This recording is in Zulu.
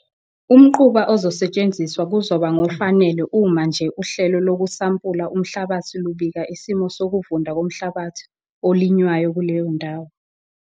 Umquba ozosetshenziswa kuzoba ngofanele uma nje uhlelo lokusampula umhlabathi lubika isimo sokuvunda komhlabathi olinywayo kuleyo ndawo.